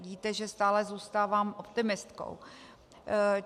Víte, že stále zůstávám optimistkou.